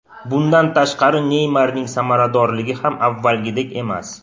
Bundan tashqari, Neymarning samaradorligi ham avvalgidek emas.